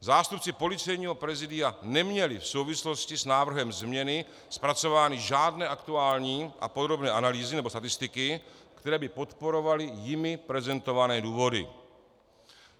Zástupci Policejního prezidia neměli v souvislosti s návrhem změny zpracovány žádné aktuální a podrobné analýzy nebo statistiky, které by podporovaly jimi prezentované důvody.